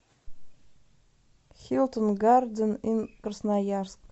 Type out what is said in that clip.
хилтон гарден инн красноярск